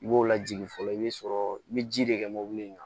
I b'o lajigin fɔlɔ i bɛ sɔrɔ i bɛ ji de kɛ mobili in kan